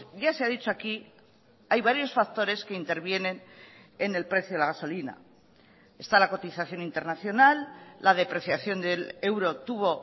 ya se ha dicho aquí hay varios factores que intervienen en el precio de la gasolina está la cotización internacional la depreciación del euro tuvo